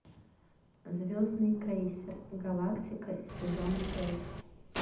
звездный крейсер галактика сезон пять